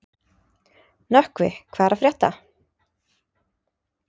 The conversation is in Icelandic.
Nökkvi, hvað er að frétta?